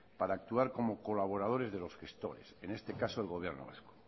para actuar como colabores de los gestores en este caso el gobierno vasco